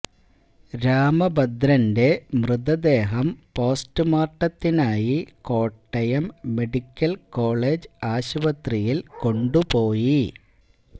രാമഭദ്രന്റെ മൃതദേഹം പോസ്റ്റുമോര്ട്ടത്തിനായി Kottayam medical college ആശുപത്രിയില് കൊണ്ടുപോയി